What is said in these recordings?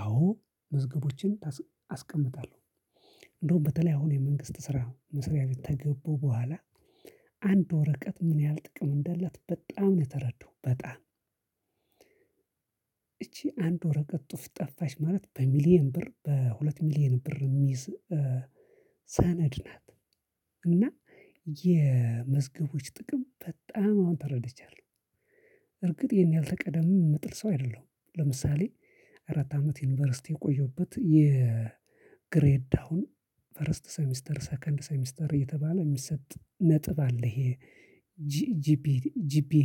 አዎ መዝገቦችን አስቀምጣለሁ። እንደውም በተለይ አሁን የመንግስት ስራ መስሪያ ቤት ከገባሁ በኋላ አንድ ወረቀት ምን ያህል ጥቅም እንዳላት በጣም ነው የተረዳሁት በጣም እቺ አንድ ወረቀት ጠፋች ማለት በሚሊየን ብር፤ በሁለት ሚሊየን ብር ሚይዝ ሰነድ ናት እና የመዝገቦች ጥቅም በጣም አሁን ተረድቻለሁ። በእርግጥ ይሄን ከቀድመም የምጥል ሰው አይደለሁም። ለምሳሌ አራት አመት ዩኒቨርሲቲ የቆየሁበት የግሬድ ዳውን ፈርስት ሰሚስተር፤ ሰከንድ ሰሚስተር እየተባለ የሚሰጥ ነጥብ አለ ይሄ ጂፒኤ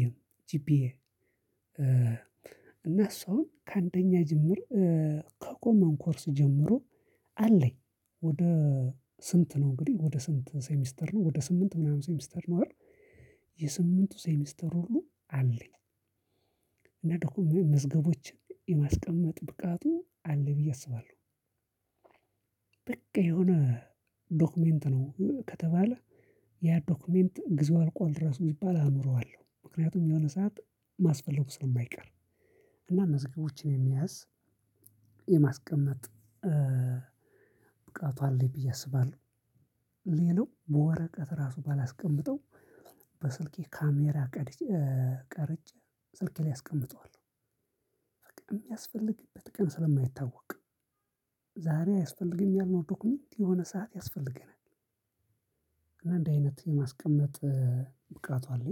እና እሱም ከአንደኛ ጀምሮ ከኮመን ኮርስ ጀምሮ አለኝ ወደ ስንት ነው እንግዲህ? ወደ ስንት ሴሚስተር ነው? ወደ ስምንት ምናምን ሴሚስተር ነው አይደል? የስምንት ሴሚስተር ሁሉ አለኝ። እና ደግሞ መዝገቦችን የማስቀመጥ ብቃቱ አለኝ ብዬ አስባለሁ በቃ የሆነ ዶክመንት ነው ከተባለ ያ ዶክመንት ግዜው አልቋል እራሱ ቢባል አኖረዋለሁ፤ ምክንያቱም የሆነ ሰዓት ማስፈለጉ ስለማይቀር እና መዝገቦችን የመያዝ፣ የማስቀመጥ ብቃቱ አለኝ ብዬ አስባለሁ። ሌላው በወረቀት እራሱ ባላስቀምጠው በስልኬ ካሜራ ቀርጬ ስልኬ ላይ አስቀምጠዋለሁ። የሚያስፈልግበት ቀን ስለማይታወቅ ዛሬ አያስፈልግም ያልነው ዶክመንት የሆነ ሰዓት ያስፈልገናል እና እንደ አይነት የማስቀመጥ ብቃቱ አለኝ